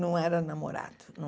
Não era namorado.